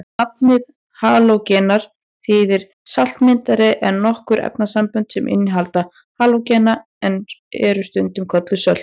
Nafnið halógenar þýðir saltmyndari en nokkur efnasambönd sem innihalda halógena eru stundum kölluð sölt.